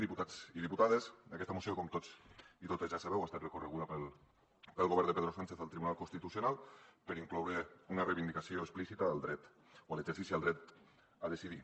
diputats i diputades aquesta moció com tots i totes ja sabeu ha estat recorreguda pel govern de pedro sánchez al tribunal constitucional perquè inclou una reivindicació explícita al dret o a l’exercici del dret a decidir